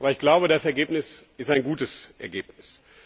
Aber ich glaube, das Ergebnis ist ein gutes Ergebnis.